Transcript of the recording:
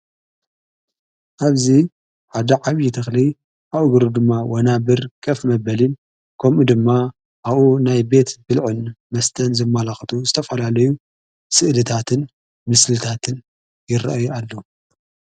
ኣብዚ ሓደ ዓብዪ ተኽሊ ኣብ እግሩ ድማ ወናብር ከፍ መበሊን ከምኡ ድማ ኣኡ ናይ ቤት ብልዑን መስተን ዘማላኽቱ ዝተፈላለዩ ሥእልታትን ምስልታትን ይረአ ኣሎ።